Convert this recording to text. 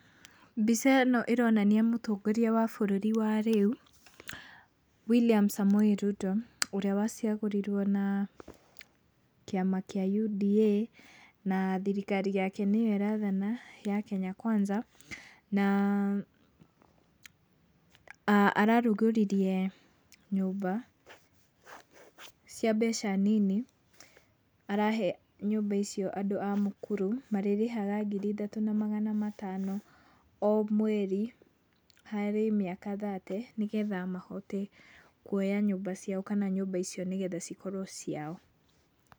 Mbica ĩno ĩronania mũtongoria wa bũrũri wa rĩu William Samoei Ruto, ũrĩa wacagũrirwo na kĩama kĩa UDA. Na thirikari yake nĩyo ĩrathana ya Kenya Kwanza. Na ararugũririe nyũmba cia mbeca nini, arahe nyũmba icio andũ a mũkuru. Marĩrĩhaga ngiri ithatũ na magana matano o mweri, harĩ mĩaka thate nĩgetha mahote kuoya nyũmba ciao kana nyũmba icio nĩ getha cikorwo ciao.